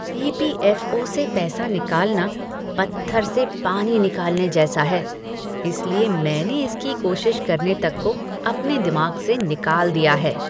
ई. P. F. O. से पैसा निकालना पत्थर से पानी निकालने जैसा है, इसलिए मैंने इसकी कोशिश करने तक को अपने दिमाग से निकाल दिया है।